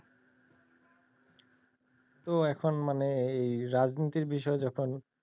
তো এখন মানে এই রাজনীতির বিষয়ে যখন,